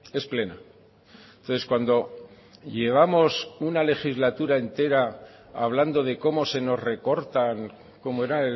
es plena entonces cuando llevamos una legislatura entera hablando de cómo se nos recortan cómo era